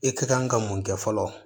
I ka kan ka mun kɛ fɔlɔ